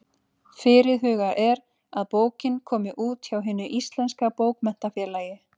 Fyrirhugað er að bókin komi út hjá Hinu íslenska bókmenntafélagi.